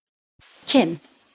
Kinn